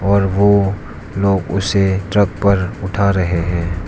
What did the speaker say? और वो लोग उसे ट्रक पर उठा रहे हैं।